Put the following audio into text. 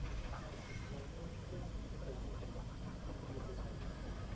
Você disse que vocês fizeram um monte de coisa, conta para a gente o, o que vocês faziam na comuni